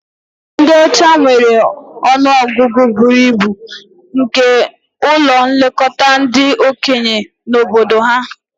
Ndị ọcha nwere ọnụ ọgụgụ buru ibu nke ụlọ nlekọta ndị okenye na obodo ha